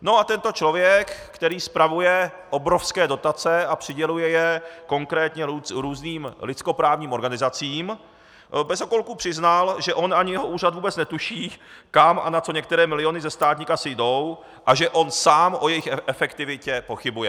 No a tento člověk, který spravuje obrovské dotace a přiděluje je konkrétně různým lidskoprávním organizacím, bez okolku přiznal, že on ani jeho úřad vůbec netuší, kam a na co některé miliony ze státní kasy jdou, a že on sám o jejich efektivitě pochybuje.